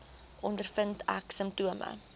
ondervind ek simptome